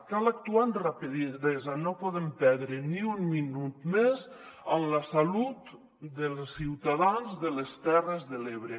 cal actuar amb rapidesa no podem perdre ni un minut més amb la salut dels ciutadans de les terres de l’ebre